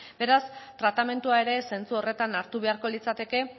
beraz tratamendua ere zentzu horretan hartu beharko litzateke